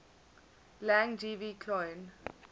lang gv cloan